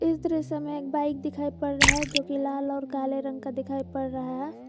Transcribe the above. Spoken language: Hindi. इस दृश्य में एक बाइक दिखाई पड़ रहा है जो की लाल और काले रंग का दिखाई पड़ रहा है।